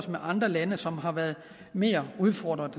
andre lande som har været mere udfordret